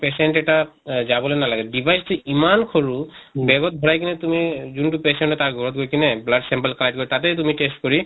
patient এটা আহ যাবলৈ নালাগে device টো ইমান সৰু bag ত ভৰাই কিনে তুমি যোনটো patient এটা ঘৰত গৈ কেনে blood sample collect কৰি তাতে তুমি test কৰি